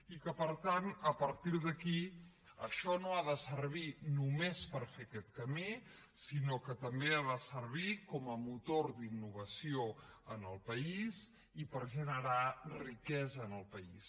i per tant a partir d’aquí això no ha de servir només per fer aquest camí sinó que també ha de servir com a motor d’innovació en el país i per generar riquesa en el país